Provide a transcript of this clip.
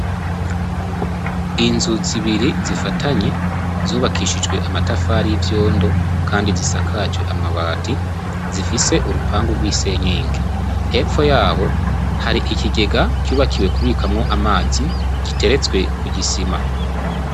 Inzu zibiri zifatanye, zubakishijwe amatafari y'ivyondo kandi zisakajwe amabati, zifise urupangu rw'isenyenge. Hepfo y'aho, hari ikigega cubakiwe kubikamwo amazi, giteretswe ku gisima.